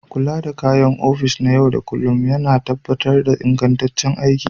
Kula da kayan aikin ofis na yau da kullun yana tabbatar da ingantaccen aiki.